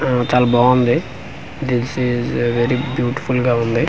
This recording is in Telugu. ఆఆ చాలా బాగుంది దిస్ ఇస్ వెరీ బ్యూటిఫుల్ గ ఉంది.